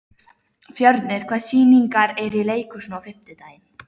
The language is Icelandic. Fjörnir, hvaða sýningar eru í leikhúsinu á fimmtudaginn?